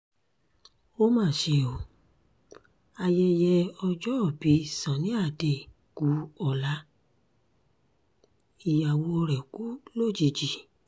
ó mà ṣe o ayẹyẹ ọjọ́òbí sunny ade kú ọ̀la ìyàwó rẹ̀ kú lójijì